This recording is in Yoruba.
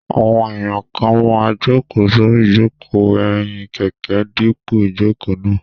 Àwọn èèyàn kan máa n jòkó sórí ìjòkó ẹ̀yìn kẹ̀kẹ́ dípò ìjòkó náà